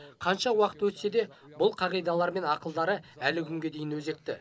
қанша уақыт өтсе де бұл қағидалары мен ақылдары әлі күнге дейін өзекті